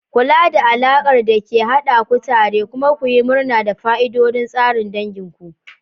Kula da alakar da ke haɗa ku tare kuma ku yi murna da fa'idodin tsarin dangin ku.